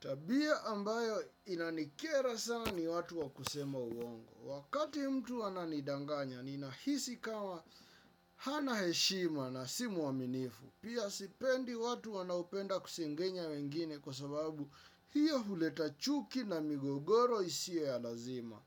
Tabia ambayo inanikera sana ni watu wa kusema uongo. Wakati mtu ananidanganya, ninahisi kama hana heshima na si mwaminifu. Pia sipendi watu wanaopenda kusengenya wengine kwa sababu hiyo huleta chuki na migogoro isiwe ya lazima.